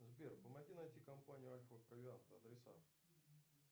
сбер помоги найти компанию альфа провиант адреса